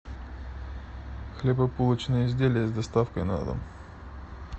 хлебобулочные изделия с доставкой на дом